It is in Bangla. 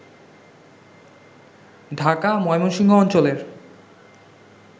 ঢাকা ময়মনসিংহ অঞ্চলের